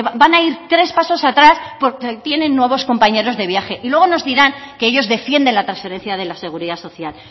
van a ir tres pasos atrás porque tienen nuevos compañeros de viaje y luego nos dirán que ellos defienden la transferencia de la seguridad social